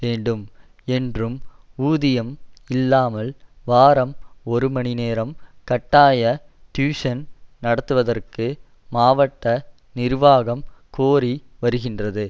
என்றும் ஊதியம் இல்லாமல் வாரம் ஒரு மணி நேரம் கட்டாய டியூசன் நடத்துவதற்கு மாவட்ட நிர்வாகம் கோரி வருகின்றது